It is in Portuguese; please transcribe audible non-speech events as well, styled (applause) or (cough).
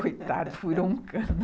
Coitado, furou um cano. (laughs)